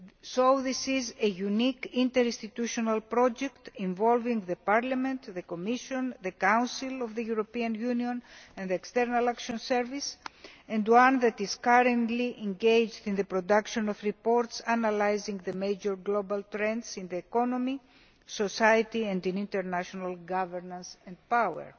So this is a unique interinstitutional project involving Parliament, the Commission, the Council of the European Union and the External Action Service, and one that is currently engaged in the production of reports analysing the major global trends in the economy, society and in international governance and power.